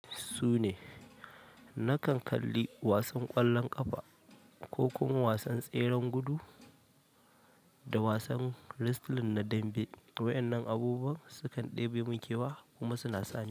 Sune. Nakan kalli wasan ƙwallon ƙafa ko kuma wasan tseren gudu da wasan wrestling na dambe. Waɗannan abubuwan sukan ɗebe min kewa kuna suna sani.